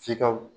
F'i ka